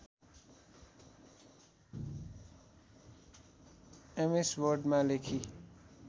MS वर्डमा लेखी